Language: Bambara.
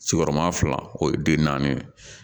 Sigiyɔrɔma fila o ye den naani ye